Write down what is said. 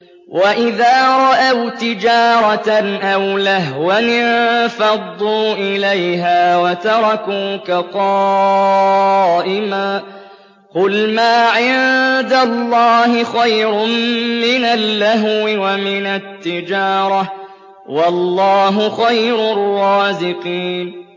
وَإِذَا رَأَوْا تِجَارَةً أَوْ لَهْوًا انفَضُّوا إِلَيْهَا وَتَرَكُوكَ قَائِمًا ۚ قُلْ مَا عِندَ اللَّهِ خَيْرٌ مِّنَ اللَّهْوِ وَمِنَ التِّجَارَةِ ۚ وَاللَّهُ خَيْرُ الرَّازِقِينَ